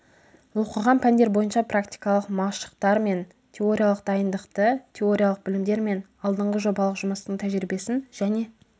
оқыған пәндер бойынша практикалық машықтар мен теориялық дайындықты теориялық білімдер мен алдыңғы жобалық жұмыстың тәжірибесін және